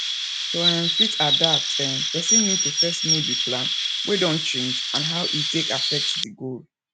to um fit adapt um person need to first know di plan wey don change and how e take affect di goal